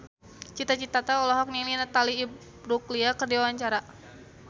Cita Citata olohok ningali Natalie Imbruglia keur diwawancara